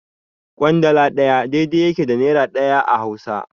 Ƙwandala ɗaya daidai yake da nera ɗaya a Hausa.